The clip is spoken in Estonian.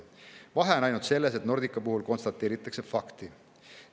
Vahe on ainult selles, et Nordica puhul konstateeritakse fakti.